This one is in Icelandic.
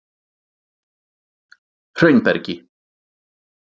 Hraunbergi